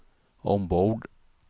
ombord